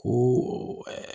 Ko